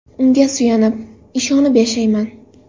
Unga suyanib, ishonib yashayman.